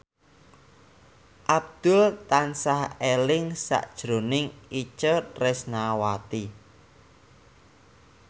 Abdul tansah eling sakjroning Itje Tresnawati